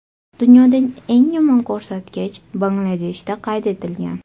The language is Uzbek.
Dunyodagi eng yomon ko‘rsatkich Bangladeshda qayd etilgan.